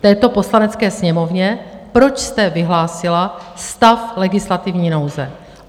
této Poslanecké sněmovně, proč jste vyhlásila stav legislativní nouze.